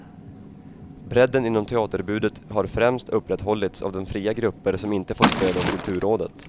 Bredden inom teaterutbudet har främst upprätthållits av de fria grupper som inte fått stöd av kulturrådet.